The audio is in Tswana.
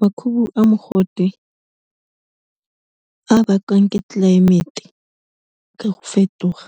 Makhubu a mogote a bakwang ke tlelaemete ka go fetoga,